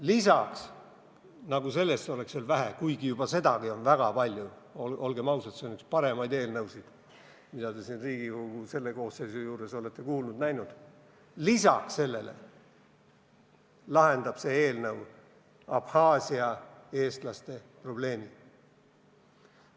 Lisaks, nagu sellest oleks veel vähe – kuigi juba sedagi on väga palju, olgem ausad, see on üks paremaid eelnõusid, mida te selle Riigikogu koosseisu ajal olete kuulnud-näinud –, lisaks sellele lahendab see eelnõu Abhaasia eestlaste probleemi.